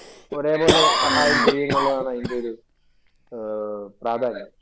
ഒരേപോലെ സഹായം ചെയ്യും എന്നുള്ളതാണ് അതിന്‍റെ ഒരു പ്രാധാന്യം.